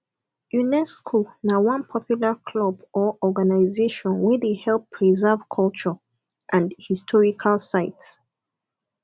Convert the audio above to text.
unesco na one popular club or organisation wey de help preserve culture and historical sites